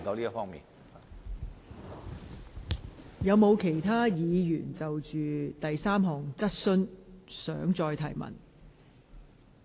是否有其他議員想就第三項質詢提出補充質詢？